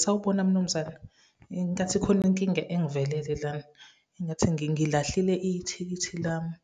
Sawubona mnumzane, ngathi khona inkinga engivelele lana. Engathi ngililahlile ithikithi lami